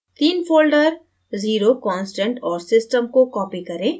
तीन folders 0 constant औरsystem को copy करें